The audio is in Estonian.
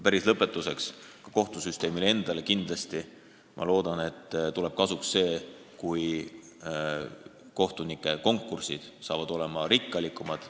Päris lõpetuseks: ka kohtusüsteemile tuleb loodetavasti kasuks see, kui kohtunikukonkursid saavad olema pingelisemad.